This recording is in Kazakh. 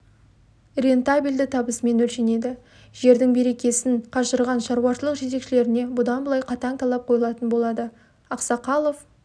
рентабельді табысымен өлшенеді жердің берекесін қашырған шаруашылық жетекшілеріне бұдан былай қатаң талап қойылатын болады ақсақалов